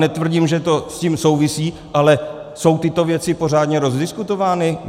Netvrdím, že to s tím souvisí, ale jsou tyto věci pořádně rozdiskutovány?